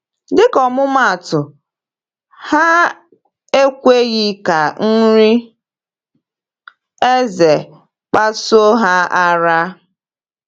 “Dịka ọmụmaatụ, ha ekweghị ka nri eze kpasuo ha ara.”